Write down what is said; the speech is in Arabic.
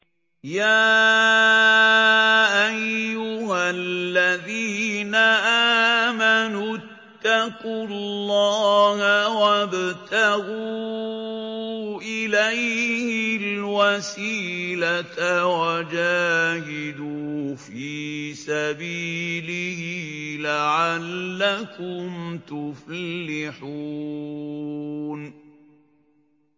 يَا أَيُّهَا الَّذِينَ آمَنُوا اتَّقُوا اللَّهَ وَابْتَغُوا إِلَيْهِ الْوَسِيلَةَ وَجَاهِدُوا فِي سَبِيلِهِ لَعَلَّكُمْ تُفْلِحُونَ